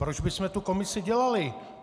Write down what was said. Proč bychom tu komisi dělali?